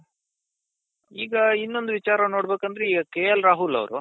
ಈಗ ಇನ್ನೊಂದು ವಿಚಾರ ನೋಡ್ಬೇಕಂದ್ರೆ ಈಗ KL Rahul ಅವ್ರು